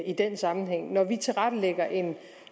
i den sammenhæng når vi tilrettelægger en